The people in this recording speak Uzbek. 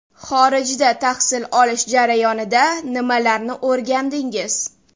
Xorijda tahsil olish jarayonida nimalarni o‘rgandingiz?